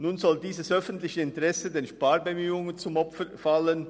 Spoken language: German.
Nun soll dieses öffentliche Interesse den Sparbemühungen zum Opfer fallen.